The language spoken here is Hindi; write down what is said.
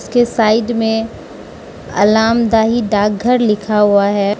उसके साइड में अलामदहि डाकघर लिखा हुआ है।